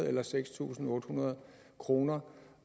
eller seks tusind otte hundrede kroner